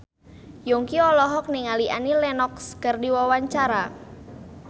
Yongki olohok ningali Annie Lenox keur diwawancara